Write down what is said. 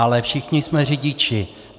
Ale všichni jsme řidiči.